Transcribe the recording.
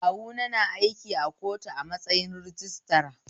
Kawuna na aiki a kotu a matsayin rajistira